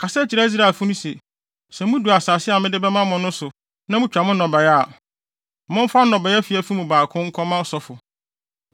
“Kasa kyerɛ Israelfo no se, ‘Sɛ mudu asase a mede bɛma mo no so na mutwa mo nnɔbae a, momfa nnɔbae afiafi no mu baako nkɔma ɔsɔfo.